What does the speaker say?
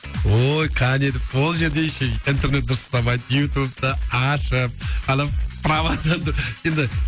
ой кәне деп ол жерде еще интернет дұрыс ұстамайды ютубты ашып анау праваны енді енді